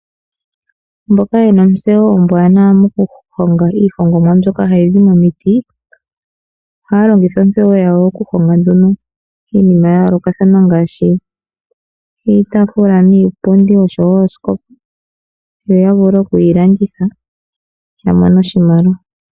Mboka yena ontseyo ombwaanawa mokuhonga iihongomwa mbyoka hayi zi momiti, ohaya longitha ontseyo yawo okuhonga nduno iinima ya yoolokathana ngaashi iitafula niipundi, oshowo oosikopa, yo ya vule okuyi landitha ya mone oshimaliwa.